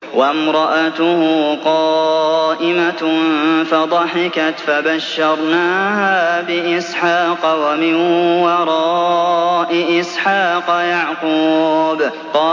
وَامْرَأَتُهُ قَائِمَةٌ فَضَحِكَتْ فَبَشَّرْنَاهَا بِإِسْحَاقَ وَمِن وَرَاءِ إِسْحَاقَ يَعْقُوبَ